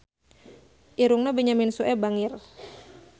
Irungna Benyamin Sueb bangir